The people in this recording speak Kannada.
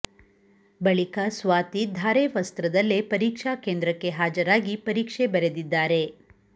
ಬಳಿಕ ಸ್ವಾತಿ ಧಾರೆ ವಸ್ತ್ರದಲ್ಲೇ ಪರಿಕ್ಷಾ ಕೇಂದ್ರಕ್ಕೆ ಹಾಜರಾಗಿ ಪರೀಕ್ಷೆ ಬರೆದಿದ್ದಾರೆ